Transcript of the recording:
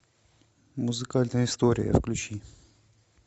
музыкальная история включи